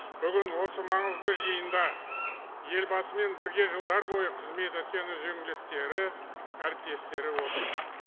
бүгін осы маңызды жиында елбасымен бірге жылдар бойы қызмет еткен үзеңгілестері әріптестері отыр